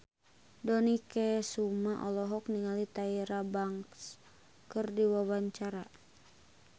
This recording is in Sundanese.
Dony Kesuma olohok ningali Tyra Banks keur diwawancara